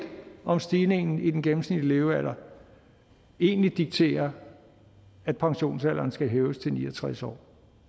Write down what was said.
om stigningen i den gennemsnitlige levealder egentlig dikterer at pensionsalderen skal hæves til ni og tres år